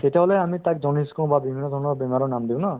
তেতিয়াহ'লে আমি তাক jaundice কওঁ বা বিভিন্ন ধৰণৰ বেমাৰৰ নাম দিও ন